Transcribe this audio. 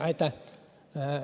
Aitäh!